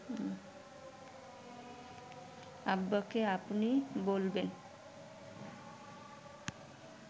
আব্বাকে আপনি বলবেন